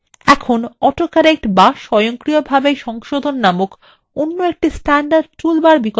এখন autocorrect বা স্বয়ংক্রিয়ভাবে সংশোধন নামক অন্য একটি standard টুল বার এর বিকল্প সম্পর্কে জানা যাক